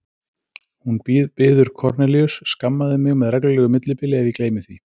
Hún biður Kornelíus: Skammaðu mig með reglulegu millibili ef ég gleymi því